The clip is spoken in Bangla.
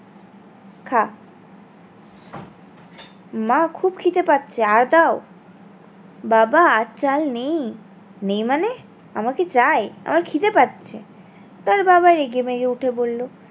খা মা খুব খিদে পাচ্ছে আর দাও বাবা আর চাল নেই নেই মানে আমাকে চাই আমার খিদে পাচ্ছে তার বাবা রেগে মেগে উঠে বললো